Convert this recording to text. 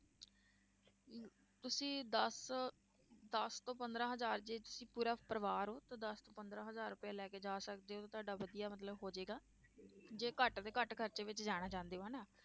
ਤੁਸੀਂ ਦਸ ਦਸ ਤੋਂ ਪੰਦਰਾਂ ਹਜ਼ਾਰ ਜੇ ਤੁਸੀਂ ਪੂਰਾ ਪਰਿਵਾਰ ਹੋ ਤਾਂ ਦਸ ਪੰਦਰਾਂ ਹਜ਼ਾਰ ਰੁਪਇਆ ਲੈ ਕੇ ਜਾ ਸਕਦੇ ਹੋ, ਤੁਹਾਡਾ ਵਧੀਆ ਮਤਲਬ ਹੋ ਜਾਏਗਾ ਜੇ ਘੱਟ ਤੋਂ ਘੱਟ ਖ਼ਰਚੇ ਵਿੱਚ ਜਾਣਾ ਚਾਹੁੰਦੇ ਹੋ ਹਨਾ,